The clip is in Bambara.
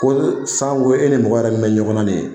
Ko ni sanko e ni mɔgɔ min bɛ ɲɔgɔnna nin ye.